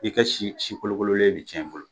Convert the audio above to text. I ka si si kolokololen bi cɛn i bolo